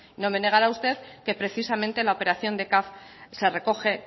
no me negará usted que precisamente la operación de caf se recoge